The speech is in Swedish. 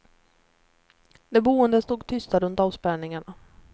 De boende stod tysta runt avspärrningarna.